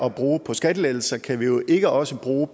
at bruge på skattelettelser kan vi jo ikke også bruge